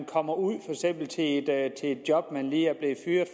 kommer ud i et job man lige